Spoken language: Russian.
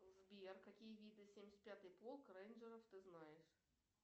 сбер какие виды семьдесят пятый полк рейнджеров ты знаешь